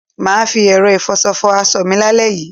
Mà á fi ẹ̀rọ ìfọṣọ fọ aṣọ mi lálẹ́ yìí.